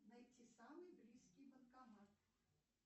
найти самый близкий банкомат